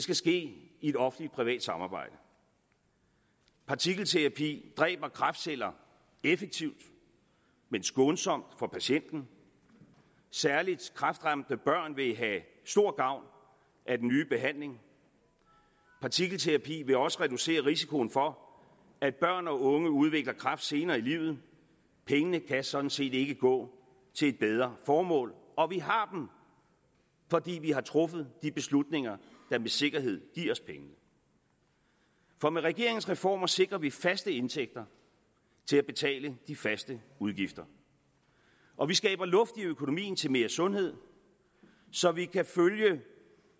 vil ske i et offentligt privat samarbejde partikelterapi dræber kræftceller effektivt men skånsomt for patienten særlig kræftramte børn vil have stor gavn af den nye behandling partikelterapi vil også reducere risikoen for at børn og unge udvikler kræft senere i livet pengene kan sådan set ikke gå til et bedre formål og vi har dem fordi vi har truffet de beslutninger der med sikkerhed giver os pengene for med regeringens reformer sikrer vi faste indtægter til at betale de faste udgifter og vi skaber luft i økonomien til mere sundhed så vi kan følge